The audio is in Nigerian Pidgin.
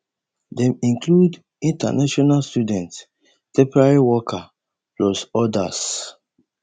dem include international students temporary workers plus odas